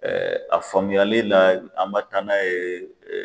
a faamuyalila an bɛ taa n'a ye